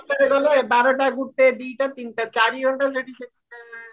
ଏଗାରଟା ଗଲ ବାରଟା ଗୋଟେ ଦିଟା ତିନିଟା ଚାରି ଘଣ୍ଟା